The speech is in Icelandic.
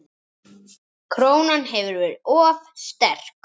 Krónan hefur verið of sterk.